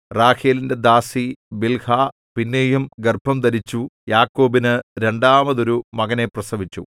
റാഹേലിന്റെ ദാസി ബിൽഹാ പിന്നെയും ഗർഭംധരിച്ചു യാക്കോബിനു രണ്ടാമതൊരു മകനെ പ്രസവിച്ചു